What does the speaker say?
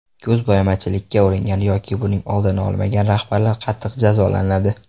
Ko‘zbo‘yamachilikka uringan yoki buning oldini olmagan rahbarlar qattiq jazolanadi.